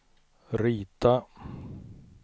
rita